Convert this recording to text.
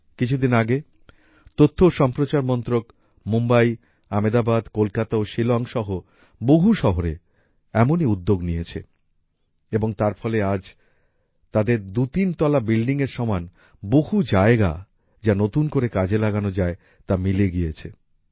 কিছুদিন আগে তথ্য ও সম্প্রচার মন্ত্রক মুম্বাই আমেদাবাদ কলকাতা ও শিলং সহ বহু শহরে এমনই উদ্যোগ নিয়েছে এবং আর তার ফলে আজ তাদের দুইতিন তলা বিল্ডিংএর সমান বহু জায়গা যা নতুন করে কাজে লাগানো যায় তা মিলে গিয়েছে